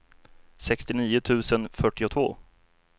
sextionio tusen fyrtiotvå